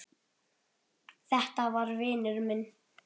Þetta var vinur minn.